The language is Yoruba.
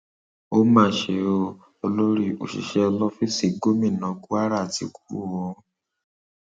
ó máa ṣe ọ olórí òṣìṣẹ lọfíìsì gómìnà kwara ti kú o